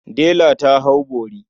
Dela ta hau bori.